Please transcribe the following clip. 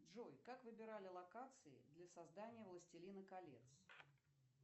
джой как выбирали локации для создания властелина колец